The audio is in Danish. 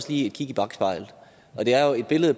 kig i bakspejlet det er jo et billede